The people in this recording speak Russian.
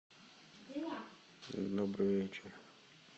добрый вечер